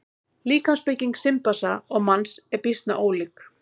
Líkamsbygging simpansa og manns er býsna ólík.